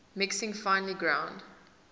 mixing finely ground